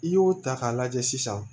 I y'o ta k'a lajɛ sisan